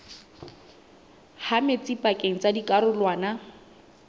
ha metsi pakeng tsa dikarolwana